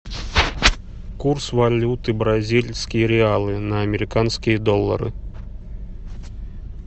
курс валюты бразильские реалы на американские доллары